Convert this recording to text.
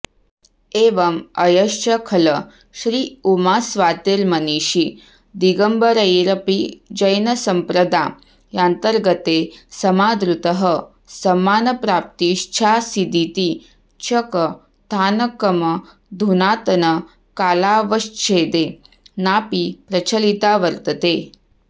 एवम् अयञ्च खल श्रीउमास्वातिर्मनीषी दिगम्बरैरपि जैनसम्प्रदा यान्तर्गतैः समादृतः सम्मानप्राप्तश्चासीदिति च कथानकमधुनातनकालावच्छेदे नापि प्रचलिता वर्तते